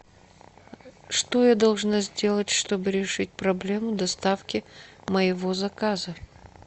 что я должна сделать чтобы решить проблему доставки моего заказа